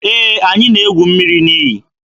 Ee, anyị na-egwu mmiri n'iyi.